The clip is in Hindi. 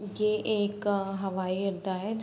ये एक हवाई अड्डा हैं।